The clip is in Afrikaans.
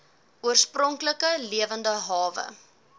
oorspronklike lewende hawe